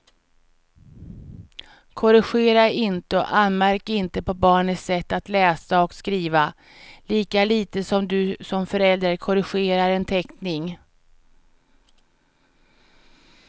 Korrigera inte och anmärk inte på barnets sätt att läsa och skriva, lika lite som du som förälder korrigerar en teckning.